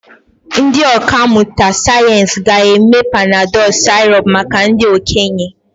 Ndị ọkà mmụta sayensị ga-eme Panadol sirop maka ndị okenye.